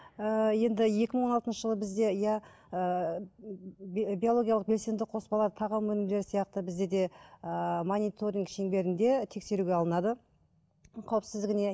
ыыы енді екі мың он алтыншы жылы бізді иә ыыы биологиялық белсенді қоспалар тағам өнімдері сияқты бізде де ыыы мониторинг шеңберінде тексеруге алынады қауіпсіздігіне